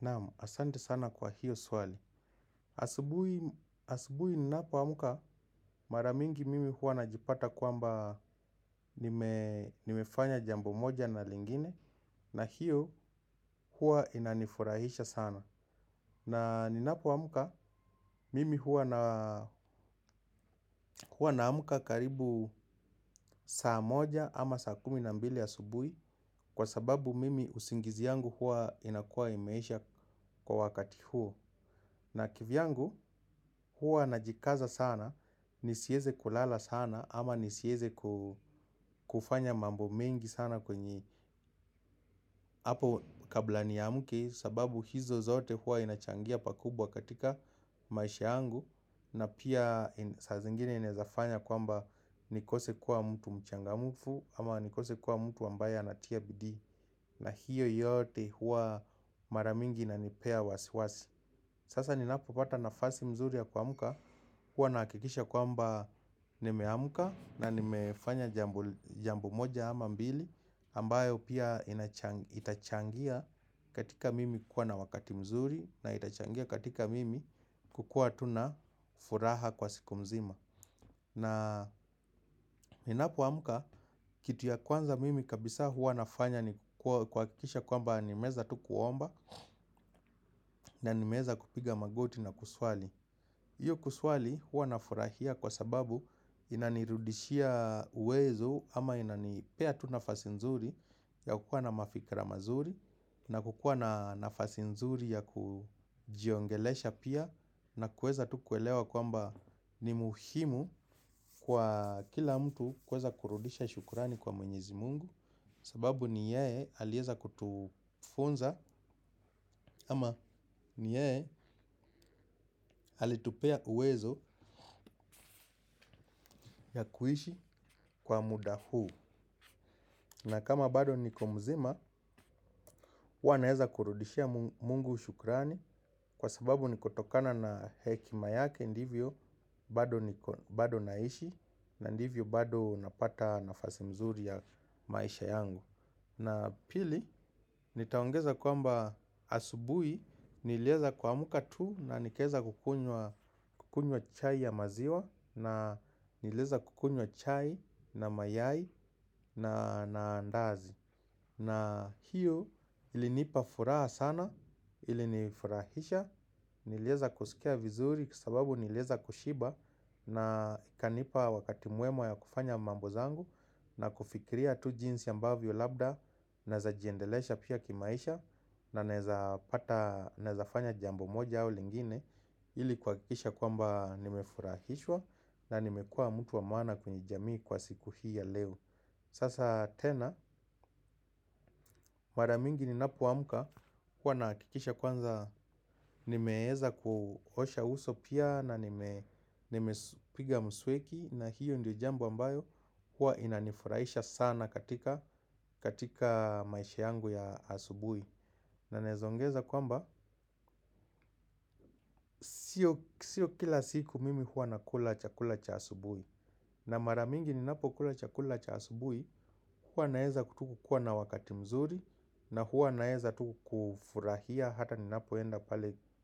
Naam, asante sana kwa hiyo swali. Asubuhi ninapo amka mara mingi mimi huwa najipata kwamba nimefanya jambo moja na lingine na hiyo huwa inanifurahisha sana. Na ninapo amka, mimi huwa na amka karibu saa moja ama saa kumi na mbili asubuhi. Kwa sababu mimi usingizi yangu huwa inakuwa imeisha kwa wakati huo. Na kivyangu huwa najikaza sana, nisieze kulala sana ama nisieze kufanya mambo mengi sana kwenye hapo kabla niamke sababu hizo zote huwa inachangia pakubwa katika maisha yangu. Na pia saa zingine inaeza fanya kwamba nikose kuwa mtu mchangamfu. Ama nikose kuwa mtu ambaye anatia bidii. Na hiyo yote huwa mara mingi inanipea wasi wasi. Sasa ninapopata nafasi mzuri ya kwamka huwa nahakikisha kwamba nimeamka na nimefanya jambo moja ama mbili ambayo pia itachangia katika mimi kuwa na wakati mzuri. Na itachangia katika mimi kukua tu na furaha kwa siku mzima. Na ninapoamka kitu ya kwanza mimi kabisa huwa nafanya ni kuhakikisha kwamba nimeeza tu kuomba. Na nimeeza kupiga magoti na kuswali hiyo kuswali huwa nafurahia kwa sababu inanirudishia uwezo ama inanipea tu nafasi nzuri ya kukuwa na mafikra mazuri na kukuwa nafasi nzuri ya kujiongelesha pia. Na kueza tu kuelewa kwamba ni muhimu kwa kila mtu kueza kurudisha shukrani kwa mwenyezi mungu. Sababu ni yeye alieza kutufunza ama ni yeye alitupea uwezo ya kuishi kwa muda huu. Na kama bado niko mzima huwa naeza kurudishia mungu shukrani. Kwa sababu ni kutokana na hekima yake ndivyo bado naishi. Na ndivyo bado napata nafasi mzuri ya maisha yangu. Na pili, nitaongeza kwamba asubuhi nilieza kuamka tu na nikaeza kukuynwa chai ya maziwa. Na nilieza kukuynwa chai na mayai na ndazi. Na hiyo ilinipa furaha sana, ilinifurahisha. Nilieza kusikia vizuri kwasababu nilieza kushiba na ikanipa wakati mwema ya kufanya mambo zangu. Na kufikiria tu jinsi ambavyo labda naeza jiendelesha pia kimaisha na naeza fanya jambo moja au lingine. Ili kuhakikisha kwamba nimefurahishwa na nimekuwa mtu wa maana kwenye jamii kwa siku hii ya leo. Sasa tena mara mingi ninapoamka huwa nahakikisha kwanza nimeeza kuosha uso pia na nimepiga mswaki na hiyo ndio jambo ambayo huwa inanifurahisha sana katika maisha yangu ya asubuhi. Na naezaongeza kwamba sio kila siku mimi huwa nakula chakula cha asubuhi. Na mara mingi ninapo kula chakula cha asubuhi huwa naeza tu kukuwa na wakati mzuri. Na huwa naeza tu kufurahia hata ninapoenda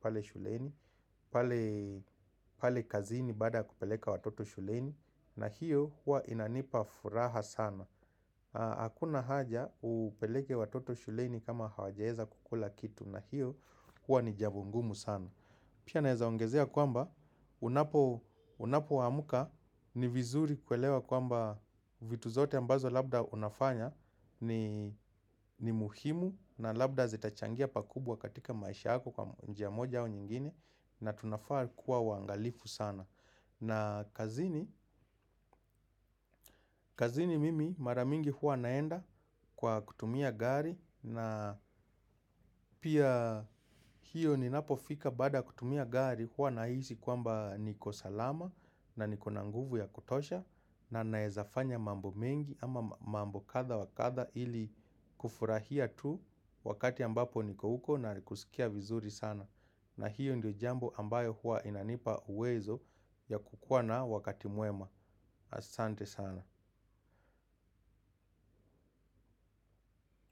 pale shuleni. Pale kazini baada ya kupeleka watoto shuleni. Na hiyo huwa inanipa furaha sana. Hakuna haja upeleke watoto shuleni kama hawajaeza kukula kitu. Na hiyo huwa ni jambo ngumu sana. Pia naeza ongezea kwamba unapo amka ni vizuri kuelewa kwamba vitu zote ambazo labda unafanya ni muhimu na labda zitachangia pakubwa katika maisha yako kwa njia moja au nyingine na tunafaa kuwa waangalifu sana. Na kazini mimi mara mingi huwa naenda kwa kutumia gari na pia hiyo ninapofika baada kutumia gari huwa nahisi kwamba niko salama na niko na nguvu ya kutosha na naezafanya mambo mengi ama mambo kadha wa kadha ili kufurahia tu wakati ambapo niko huko na kusikia vizuri sana. Na hiyo ndio jambo ambayo huwa inanipa uwezo ya kukua na wakati mwema. Asante sana.